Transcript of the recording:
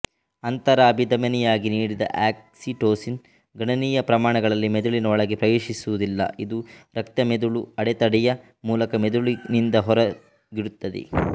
ಅಂತರಭಿಧಮನಿಯವಾಗಿ ನೀಡಿದ ಆಕ್ಸಿಟೋಸಿನ್ ಗಣನೀಯ ಪ್ರಮಾಣಗಳಲ್ಲಿ ಮೆದುಳಿನ ಒಳಗೆ ಪ್ರವೇಶಿಸುವುದಿಲ್ಲ ಇದು ರಕ್ತಮೆದುಳು ಅಡೆತಡೆಯ ಮೂಲಕ ಮೆದುಳಿನಿಂದ ಹೊರಗಿಡುತ್ತದೆ